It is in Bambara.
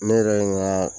Ne yɛrɛ ye n ka